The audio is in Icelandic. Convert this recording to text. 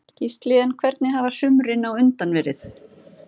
Gísli: En hvernig hafa sumrin á undan verið?